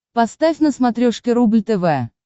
поставь на смотрешке рубль тв